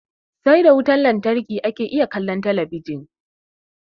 Sai da wutan lantarki ake iya kallon kalli ka ji.